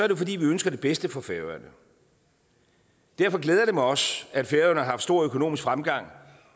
jo fordi vi ønsker det bedste for færøerne derfor glæder det mig også at færøerne har haft stor økonomisk fremgang